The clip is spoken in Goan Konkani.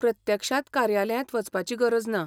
प्रत्यक्षांत कार्यालयांत वचपाची गरज ना.